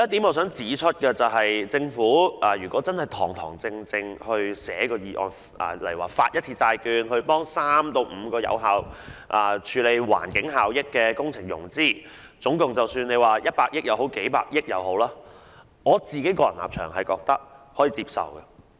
我想指出的一點是，假如政府堂堂正正草擬議案，發行一次債券協助3至5項有環境效益的工程融資，不論總額為100億元或數百億元，我個人認為可以接受。